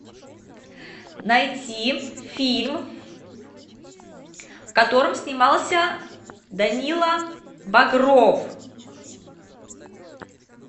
найти фильм в котором снимался данила багров